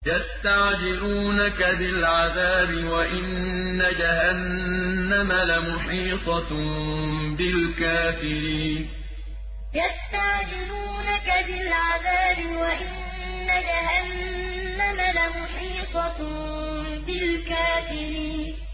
يَسْتَعْجِلُونَكَ بِالْعَذَابِ وَإِنَّ جَهَنَّمَ لَمُحِيطَةٌ بِالْكَافِرِينَ يَسْتَعْجِلُونَكَ بِالْعَذَابِ وَإِنَّ جَهَنَّمَ لَمُحِيطَةٌ بِالْكَافِرِينَ